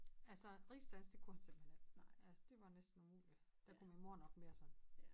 Altså rigsdansk det kunne han simpelthen ikke altså det var næsten umulig der kunne min mor nok mere sådan